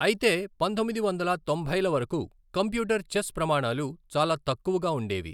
అయితే పంతొమ్మిది వందల తొంభైల వరకు కంప్యూటర్ చెస్ ప్రమాణాలు చాలా తక్కువగా ఉండేవి.